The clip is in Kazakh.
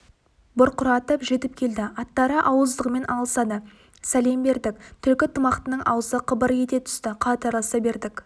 бұрқыратып жетіп келді аттары ауыздығымен алысады сәлем бердік түлкі тымақтының аузы қыбыр ете түсті қатарласа бердік